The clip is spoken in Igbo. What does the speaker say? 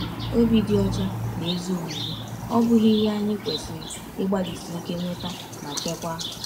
Obi dị ọcha na ezi omume, ọ̀ bụghị ihe anyị kwesịrị ịgbalịsi ike nweta ma chekwaa?